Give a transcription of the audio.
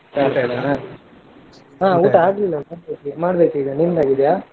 ಹ ಊಟ ಆಗ್ಲಿಲ್ಲ ಮಾಡ್ಬೇಕೀಗ ನಿಮ್ದಾಗಿದೆಯಾ?